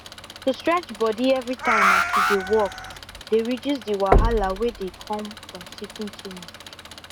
to stretch body everytime as you dey work dey reduce the wahala wey dey come from sitting too much